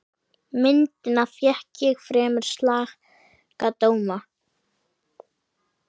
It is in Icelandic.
Myndin fékk fremur slaka dóma.